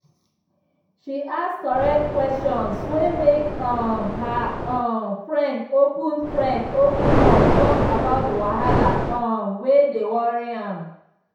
she ask correct questions wey make um her um friend open friend open up talk about the wahala um wey dey worry am.